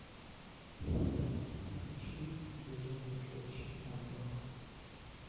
салют включи держи меня крепче анивар